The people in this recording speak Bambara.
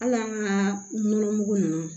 Hali an ka nɔnɔ mugu ninnu